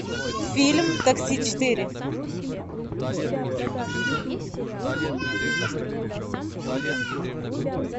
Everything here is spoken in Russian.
фильм такси четыре